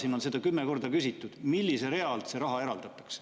Siin on seda kümme korda küsitud, millise rea alt see raha eraldatakse.